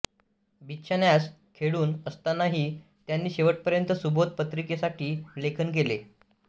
बिछान्यास खिळून असतानाही त्यांनी शेवटपर्यंत सुबोध पत्रिकेसाठी लेखन केले